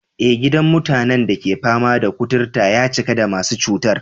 Eh, gidan mutanen da ke fama da kuturta ya cika da masu cutar.